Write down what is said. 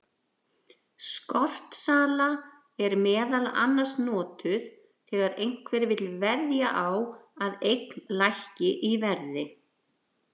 Skortsala er meðal annars notuð þegar einhver vill veðja á að eign lækki í verði.